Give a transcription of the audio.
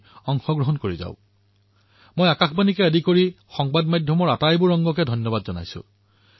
মই Akashvani FM radio Doordarshan অন্য TV channel social মিডিয়াৰ মোৰ সহযোগীসকলকো ধন্যবাদ প্ৰদান কৰিব বিচাৰিছো